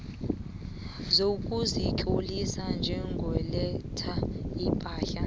sokuzitlolisa njengoletha ipahla